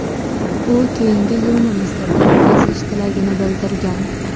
U keyingi yilni Misrda o‘tkazish tilagini bildirgan.